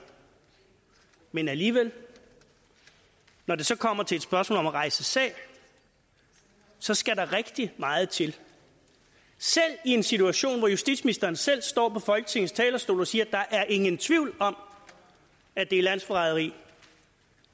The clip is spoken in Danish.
men alligevel når det så kommer til et spørgsmål om at rejse sag så skal der rigtig meget til selv i en situation hvor justitsministeren selv står på folketingets talerstol og siger der er ingen tvivl om at det er landsforræderi